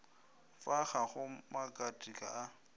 fa ga go makatika a